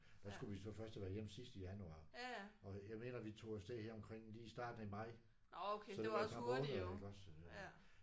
Der skulle vi så først have været hjemme sidst i januar og jeg mener vi tog afsted her omkring lige her i starten af maj. Så det var et par måneder iggås